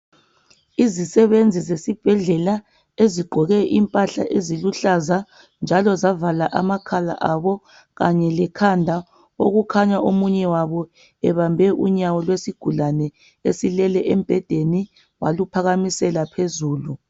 Izisebenzi zesibhedlela ezigqoke impahla eziluhlaza njalo zavala amakhala abo kanye lekhanda okukhanya omunye wabo ebambe unyawo lesigulane esilele embhedeni waluphakamisela phezulu.